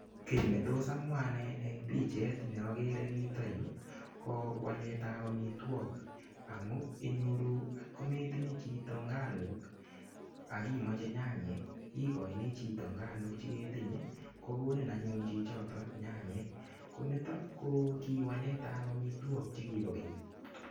Kiy netos amwa anne eng picheet ne agere eng yutok yu ko waletab amitwok amu inyoru ngotkoitinye chito nganuk ak imoche nyanyek igoini chito nganuk che ketinye, kokonin anyun chchoto nyanyek. Konito ko kiwaletab amitwok che kibo keny.